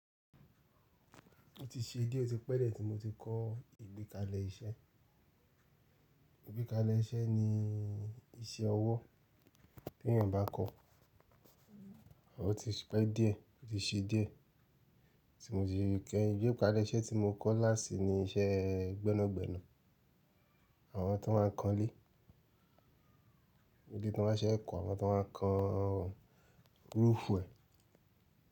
Ó ti ṣe dé, ó ti pẹ́ dié tí mo ti kọ́ ìgbékalẹ̀ iṣẹ́. Ìgbékalẹ̀ iṣẹ́ ni iṣẹ́ ọwọ́ tí èèyàn bá kọ́, ó ti pẹ́ dié, ó ti ṣe dié tí mo ti kẹ́. Ìgbékalẹ̀ iṣẹ́ tí mo kọ́ last ni iṣẹ́ gbẹ́nàgbẹ́nà àwọn tí wọ́n máa ń kan ilé, bi tí wọ́n máa ń ṣe n kọ́, àwọn tí wọ́n máa ń kan roofu ẹ̀.